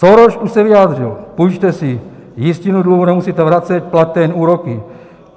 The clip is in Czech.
Soros už se vyjádřil, půjčte si, jistinu dluhu nemusíte vracet, plaťte jen úroky.